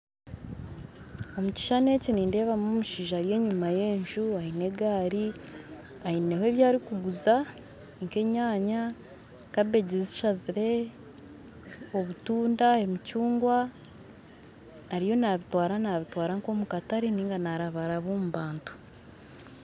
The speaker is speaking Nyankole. Omukishushani eki nindeebamu omushaija Ari enyuma yenju aine egaari aine ebyarikutunda nkeyanya kabeegi zishazire obutunda emicungwa ariyo nabitwara nk'omukatare ninga narabaraba omu bantu